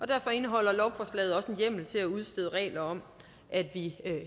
derfor indeholder lovforslaget også en hjemmel til at udstede regler om at vi